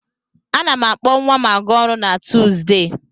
A na m akpọ nwa m a ga-ọrụ na Tuuzdee.